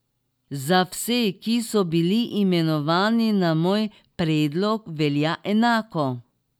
Za vse, ki so bili imenovani na moj predlog, velja enako.